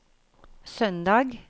søndag